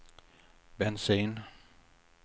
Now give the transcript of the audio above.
bensin